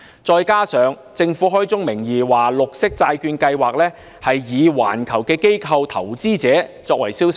再者，政府開宗名義，明言綠色債券計劃以環球機構投資者為銷售對象。